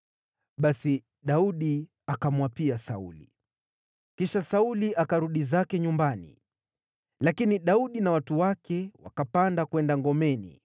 Basi Daudi akamwapia Sauli. Kisha Sauli akarudi zake nyumbani, lakini Daudi na watu wake wakapanda kwenda ngomeni.